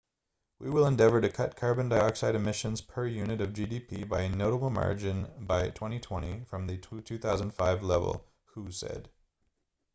we will endeavour to cut carbon dioxide emissions per unit of gdp by a notable margin by 2020 from the 2005 level hu said